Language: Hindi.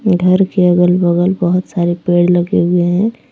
घर के अगल बगल बहुत सारे पेड़ लगे हुए हैं।